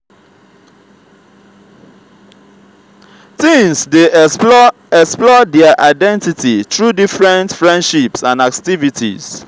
teens dey explore explore dier identity through different friendships and activities.